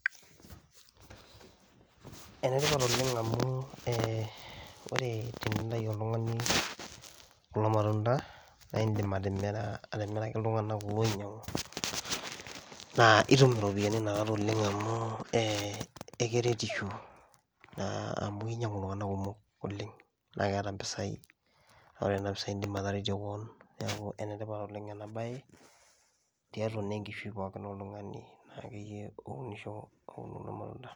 Ene tipat oleng' amu ee ore tenintayu oltung'ani kulo matunda naa iindim atimira atimiraki iltung'anak loinyang'u naa itum iropiani inakata oleng' amu ee ekeretisho naa amu kinyang'u iltung'anak kumok oleng' naake eeta mpisai naa ore nena pisai iindim ataretie koon. Neeku ene tipat oleng' ena baye tiatua naa enkishui pookin oltung'ani naakeyie ounisho aun kulo matunda.